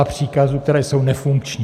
... a příkazů, které jsou nefunkční.